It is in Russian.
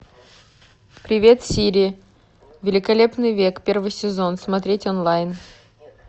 привет сири великолепный век первый сезон смотреть онлайн